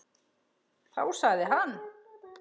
Þá sagði hann.